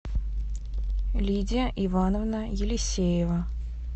лидия ивановна елисеева